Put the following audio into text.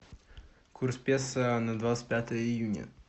курс песо на двадцать пятое июня